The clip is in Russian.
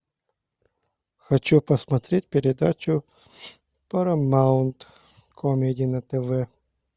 хочу посмотреть передачу парамаунт камеди на тв